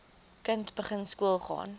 kind begin skoolgaan